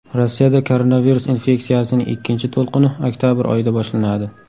Rossiyada koronavirus infeksiyasining ikkinchi to‘lqini oktabr oyida boshlanadi.